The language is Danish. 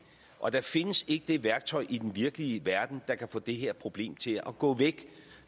og der findes ikke det værktøj i den virkelige verden der kan få det her problem til at gå væk